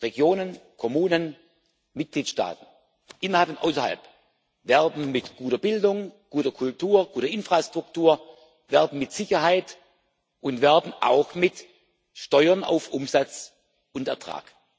Regionen, Kommunen, Mitgliedstaaten innerhalb und außerhalb werben mit guter Bildung, guter Kultur, guter Infrastruktur, werben mit Sicherheit und werben auch mit Steuern auf Umsatz und Ertrag.